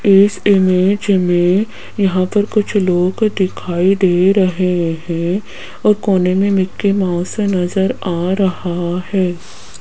इस इमेज में यहां पर कुछ लोग दिखाई दे रहे हैं और कोने में मिकी माउस नजर आ रहा है।